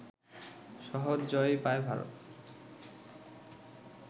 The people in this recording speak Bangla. সহজ জয়ই পায় ভারত